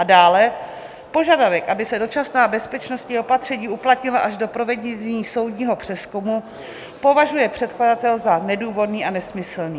A dále požadavek, aby se dočasná bezpečnostní opatření uplatnila až do provedení soudního přezkumu, považuje předkladatel za nedůvodný a nesmyslný.